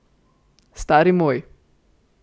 Stari moj.